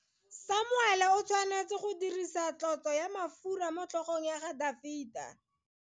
Samuele o tshwanetse go dirisa tlotso ya mafura motlhogong ya Dafita.